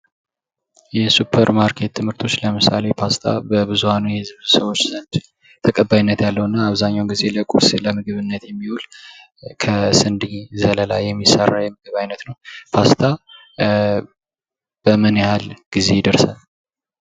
የሱፐርማርኬት ምርቶች ለምሳሌ የፓስታ በብዙኃኑ የሕዝብ ሰዎች ዘንድ ተቀባይነት ያለው እና አብዛኛውን ጊዜ ለቁርስ ለምግብነት የሚውል ከስንዴ ዘለላ የሚሰራ የምግብ አይነት ነው ። ፓስታ በምን ያህል ጊዜ ይደርሳል?